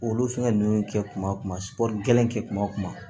Olu fɛngɛ ninnu kɛ kuma kɛ kuma kuma